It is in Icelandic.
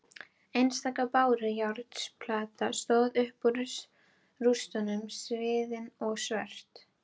Einstaka bárujárnsplata stóð upp úr rústunum sviðin og svört.